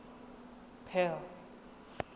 paarl